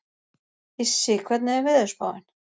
Issi, hvernig er veðurspáin?